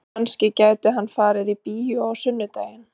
Kannski gæti hann farið í bíó á sunnudaginn?